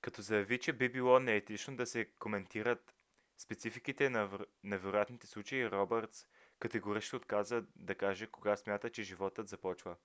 като заяви че би било неетично да се коментират спецификите на вероятните случаи робъртс категорично отказа да каже кога смята че животът започва